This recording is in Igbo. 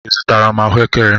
Ị zụtara m ahụekere?